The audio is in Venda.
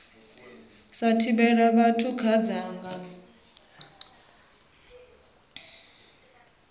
sa thivhela vhathu kha dzangano